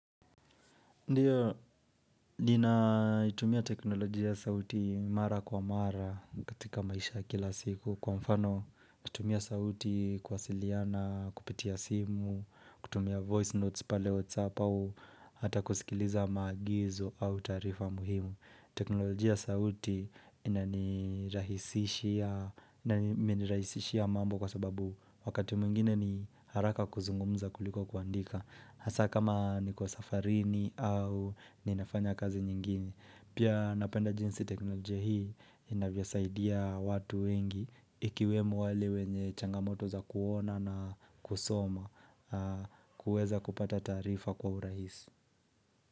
Ndiyo, lina itumia teknolojia sauti mara kwa mara katika maisha ya kila siku. Kwa mfano, kutumia sauti kwasiliana, kupitia simu, kutumia voice notes pale whatsapp au, ata kusikiliza maagizo au taarifa muhimu. Teknolojia ya sauti ina nirahisishia imenirahisihia mambo kwa sababu wakati mwingine ni haraka kuzungumza kuliko kuandika. Hasa kama ni kwa safarini au ninafanya kazi nyingine Pia napenda jinsi teknolojia hii inavyo saidia watu wengi Ikiwemo wale wenye changamoto za kuona na kusoma kuweza kupata taarifa kwa urahisi.